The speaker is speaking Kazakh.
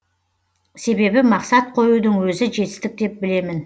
себебі мақсат қоюдың өзі жетістік деп білемін